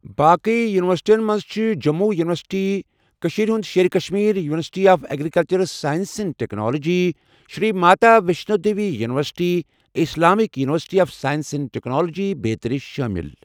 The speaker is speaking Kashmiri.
باقٕیہ یوٗنیورسِٹٮ۪ن منٛز چھِ جموں یوٗنیورسٹی، كشیرِ ہُند شیرِ Kashmir university of agricultural sciences and technology, Shri Mata Vaishno Devi university, Islamic university of science and technology بیٚترِہ شٲمِل ۔